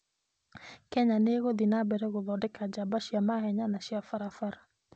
Kenya nĩ ĩgũthiĩ na mbere na gũthondeka njamba cia mahenya na cia barabara.